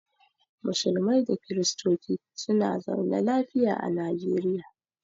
Musulmai da kiristonci suna zaune lafiya a najeriya.